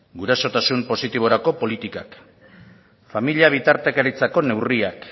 gurasotasun positiborako politikak familia bitartekaritzako neurriak